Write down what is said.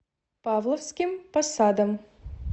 павловским посадом